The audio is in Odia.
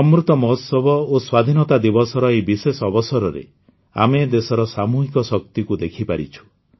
ଅମୃତ ମହୋତ୍ସବ ଓ ସ୍ୱାଧୀନତା ଦିବସର ଏହି ବିଶେଷ ଅବସରରେ ଆମେ ଦେଶର ସାମୂହିକ ଶକ୍ତିକୁ ଦେଖିପାରିଛୁ